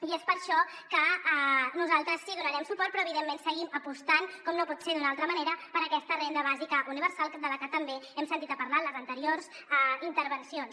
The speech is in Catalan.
i és per això que nosaltres sí que hi donarem suport però evidentment seguim apostant com no pot ser d’una altra manera per aquesta renda bàsica universal de la que també hem sentit a parlar en les anteriors intervencions